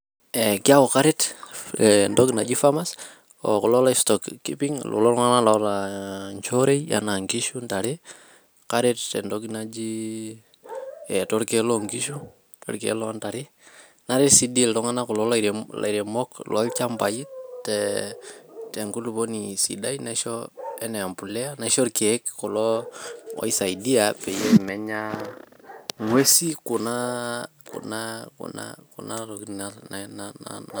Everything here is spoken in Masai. Eh kiaku karet eh entoki naji farmers o kulo lo stock keeping kulotunganak oota nchoorei ena nkishu ,ntare ,karet tentoki najiii eh torkiek loonkishu ,torkiek loo ntare, naret ,naret si dii iltunganak kulo nairemok loo nchambai eh tenkulupuoni sidai naisho enaa empulia ,naisho irkiek oisaidia peyie menya ngwesi kuna kuna tokikin na na..